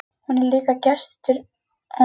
Hún er líka gestur á hátíðinni þetta árið.